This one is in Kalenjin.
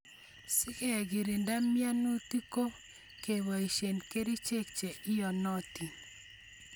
Sikekirinda mianutik ko keboishe kerichek che iyonotin